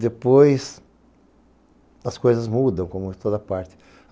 Depois, as coisas mudam, como em toda parte.